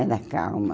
Era calma.